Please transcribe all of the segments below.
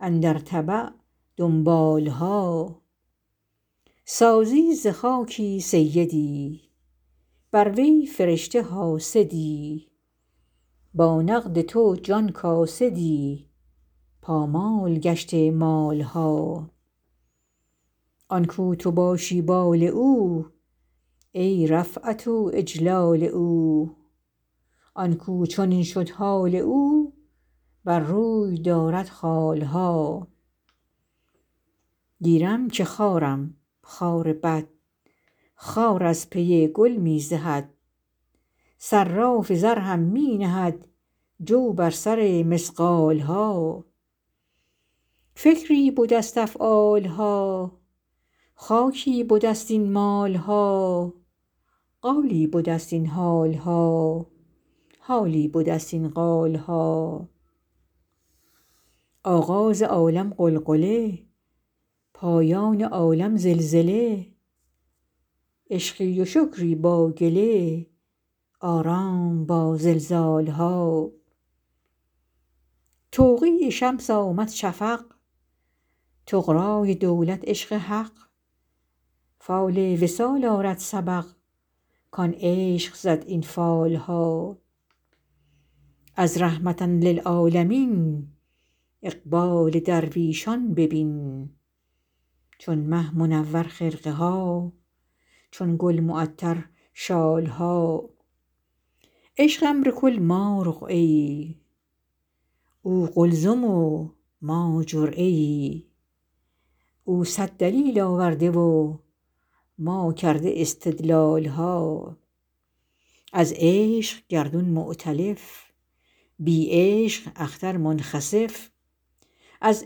اندر تبع دنبال ها سازی ز خاکی سیدی بر وی فرشته حاسدی با نقد تو جان کاسدی پامال گشته مال ها آن کاو تو باشی بال او ای رفعت و اجلال او آن کاو چنین شد حال او بر روی دارد خال ها گیرم که خارم خار بد خار از پی گل می زهد صراف زر هم می نهد جو بر سر مثقال ها فکری بده ست افعال ها خاکی بده ست این مال ها قالی بده ست این حال ها حالی بده ست این قال ها آغاز عالم غلغله پایان عالم زلزله عشقی و شکری با گله آرام با زلزال ها توقیع شمس آمد شفق طغرای دولت عشق حق فال وصال آرد سبق کان عشق زد این فال ها از رحمة للعالمین اقبال درویشان ببین چون مه منور خرقه ها چون گل معطر شال ها عشق امر کل ما رقعه ای او قلزم و ما جرعه ای او صد دلیل آورده و ما کرده استدلال ها از عشق گردون مؤتلف بی عشق اختر منخسف از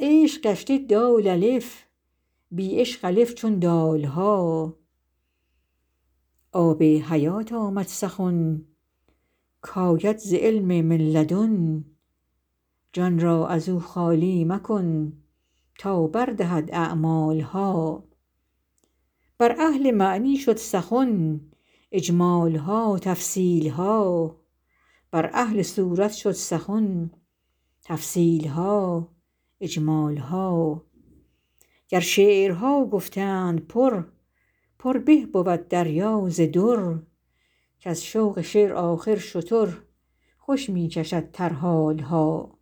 عشق گشته دال الف بی عشق الف چون دال ها آب حیات آمد سخن کاید ز علم من لدن جان را از او خالی مکن تا بر دهد اعمال ها بر اهل معنی شد سخن اجمال ها تفصیل ها بر اهل صورت شد سخن تفصیل ها اجمال ها گر شعرها گفتند پر پر به بود دریا ز در کز ذوق شعر آخر شتر خوش می کشد ترحال ها